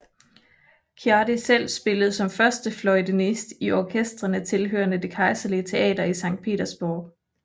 Ciardi selv spillede som førstefløjtenist i orkestrene tilhørende det kejserlige teater i Sankt Petersborg